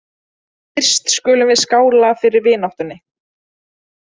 Fyrst skulum við skála fyrir vináttunni